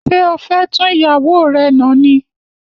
Ṣé o fé tún ìyàwó rè nà ni?